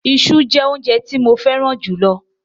Iṣu jẹ́ óúnjẹ tí mo fẹ́ràn jù lọ.